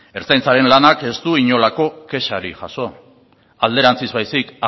ertzaintzaren lanak ez du inolako kexarik jaso alderantzik baizik